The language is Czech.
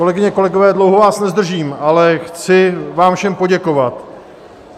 Kolegyně, kolegové, dlouho vás nezdržím, ale chci vám všem poděkovat.